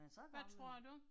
Hvad tror du?